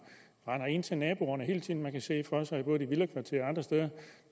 render ind til naboerne hele tiden man kan se det for sig både i villakvarterer og andre steder